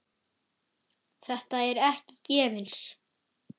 Þetta er ekki gefins.